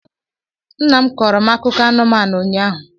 Nnam kọọro m akụkọ anumanu ụnyaahụ